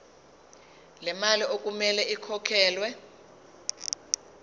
lemali okumele ikhokhelwe